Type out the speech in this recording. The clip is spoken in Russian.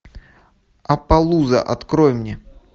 аппалуза открой мне